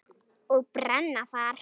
Og brenna þar.